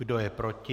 Kdo je proti?